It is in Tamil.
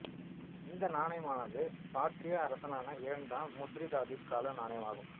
இந்த நாணயமானது பார்த்தியா அரசரான இரண்டாம் மித்ரிதாதிஸ் கால நாணயமாகும்